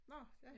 Nå ja